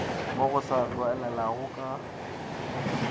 mo go sa tlwaelegago ka